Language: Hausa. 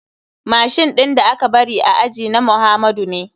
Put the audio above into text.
Machine ɗin da aka bari a aji na muhamadu ne.